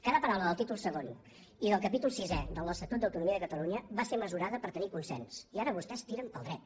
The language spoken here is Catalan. cada paraula del títol segon i del capítol sisè de l’estatut d’autonomia de catalunya va ser mesurada per tenir consens i ara vostès tiren pel dret